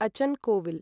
अचन् कोविल्